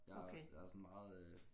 Jeg er jeg er sådan meget øh